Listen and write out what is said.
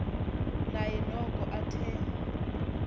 naye noko athe